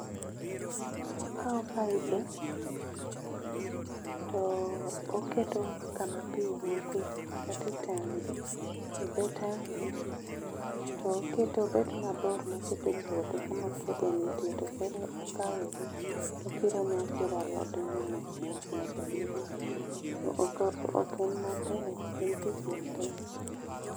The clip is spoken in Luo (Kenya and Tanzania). Okawo paibe to oketo kama pi wuokie kata etangi. Edho tangi to oketo obed mabor machopo e puodho kama puodho nitie koro okawogi to okiro ne akira alodegi mos mos nyaka girum. Ok en matek, ok en tich matek.